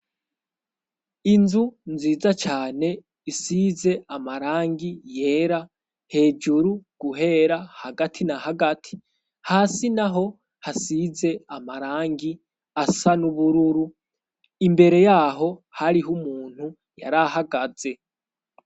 Inzu nziza cane isize amarangi yera hejuru guhera hagati na hagati hasi naho hasize amarangi asa nubururu imbere yaho hariho umuntu yari ahagaze.